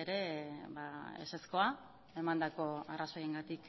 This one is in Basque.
ere ezezkoa emandako arrazoiengatik